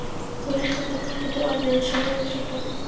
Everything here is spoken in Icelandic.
Þú veist hvernig fólk getur orðið: Eins og höfuðsóttargemlingar.